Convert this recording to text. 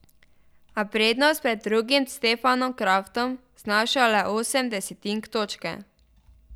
A prednost pred drugim Stefanom Kraftom znaša le osem desetink točke.